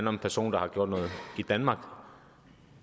om en person der har gjort noget i danmark